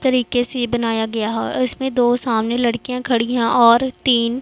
तरीके से बनाया गया है उसमें दो सामने लड़कियां खड़ी है और तीन--